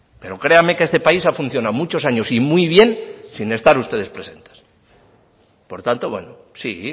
pero créame que este país ha funcionado muchos años y muy bien sin estar ustedes presentes por tanto bueno sí